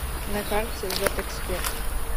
на карте ветэксперт